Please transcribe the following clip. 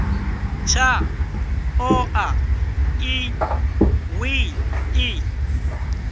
tshaḽo a ḽi ṱwi ḽi